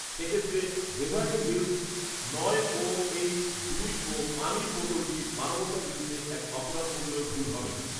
সে ক্ষেত্রে Beverly Hills নয় ওএইচ দুই ও পানির বোতলটি মানবতার বিরুদ্ধে এক অপরাধ বললেও ভুল হবে না